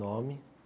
Nome.